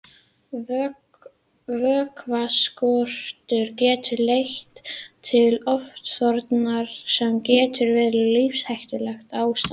Vökvaskortur getur leitt til ofþornunar sem getur verið lífshættulegt ástand.